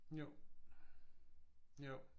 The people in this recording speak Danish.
Jo jo